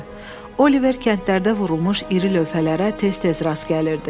Oliver kəndlərdə vurulmuş iri lövhələrə tez-tez rast gəlirdi.